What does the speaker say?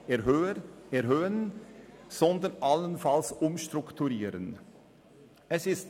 Es immer undankbar, der letzte Redner am Mittag oder der erste Redner am Morgen zu sein.